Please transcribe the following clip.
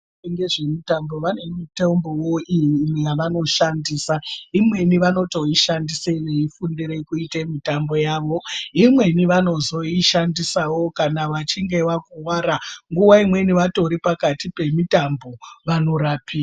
Vanoite ngezve mutambo vane mitombowo iyi yavano shandisa imweni vanoto ishandise veyi fundire kuite mitambo yavo imweni vanozoi shandisawo kana vachinge vakuvara nguva imweni vatori pakati pe mitambo vano rapiwa.